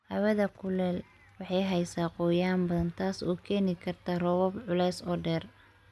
Hawada kulul waxay haysaa qoyaan badan, taas oo keeni karta roobab culus oo dheer.